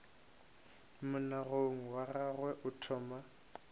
monagano wa gagwe o thoma